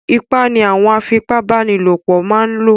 Ipá ni àwọn afipa bánilòpọ̀ máa ń lò